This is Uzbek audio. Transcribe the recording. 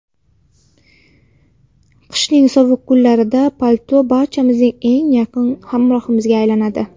Qishning sovuq kunlarida palto barchamizning eng yaqin hamrohimizga aylanadi.